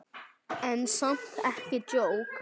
En samt ekki djók.